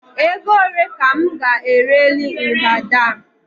Ego ole ka m ga-ereli mgbada a?